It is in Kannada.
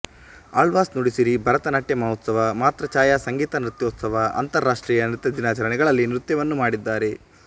ಆಳ್ವಾಸ್ ನುಡಿಸಿರಿ ಭರತನಾಟ್ಯ ಮಹೋತ್ಸವ ಮಾತೃಛಾಯಾ ಸಂಗೀತ ನೃತ್ಯೋತ್ಸವ ಅಂತರ್ ರಾಷ್ಟೀಯ ನೃತ್ಯ ದಿನಾಚರಣೆಗಳಲ್ಲಿ ನೃತ್ಯವನ್ನು ಮಾಡಿದ್ದಾರೆ